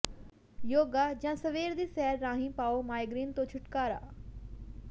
ਯੋਗਾ ਜਾਂ ਸਵੇਰ ਦੀ ਸੈਰ ਰਾਹੀਂ ਪਾਓ ਮਾਈਗ੍ਰੇਨ ਤੋਂ ਛੁਟਕਾਰਾ